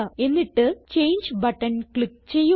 എന്നിട്ട് change button click ചെയ്യുക